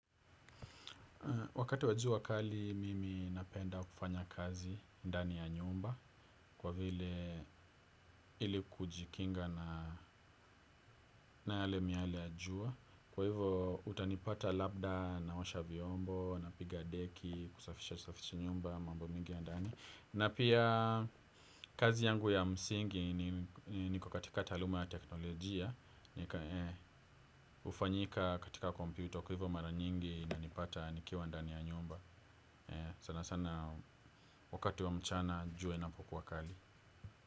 Wakati wa jua kali mimi napenda kufanya kazi ndani ya nyumba kwa vile ili kujikinga na yale miale ya jua. Kwa hivo utanipata labda na osha vyombo, napiga deki, kusafisha safisha nyumba, mambo mingi ya ndani. Na pia kazi yangu ya msingi niko katika taaluma ya teknolojia, nika hufanyika katika kompyuto kwa hivo mara nyingi ina nipata nikiwa ndani ya nyumba. Sana sana wakati wa mchana jua inapokua kali.